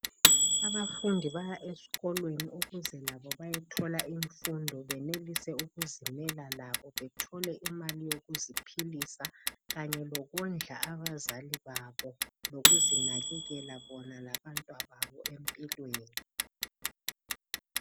Abafundi baya esikolo ukuze labo bayethola imfundo benelise ukuzimela labo bethole imali yokuziphilisa kanye lokondla abazali babo lokuzinakekela bona labantwababo empilweni.